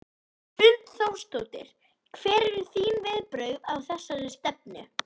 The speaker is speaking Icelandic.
Hrund Þórsdóttir: Hver eru þín viðbrögð við þessari stefnu?